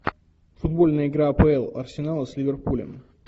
футбольная игра апл арсенала с ливерпулем